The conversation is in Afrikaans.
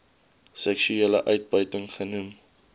seksuele uitbuiting genoem